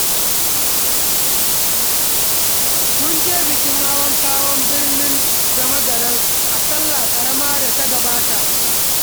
Mun je bikin hawan ƙaho birnin Damagaram a sallah ƙarama da ta gabata.